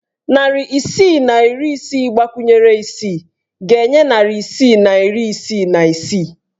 Narị isii na iri isii gbakwunyere isii ga-enye narị isii na iri isii na isii.